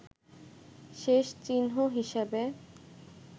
শেষ চিহ্ন হিসাবে